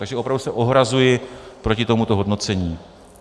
Takže opravdu se ohrazuji proti tomuto hodnocení.